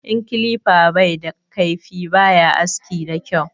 In kilifa bai da kaifi baya aski da kyau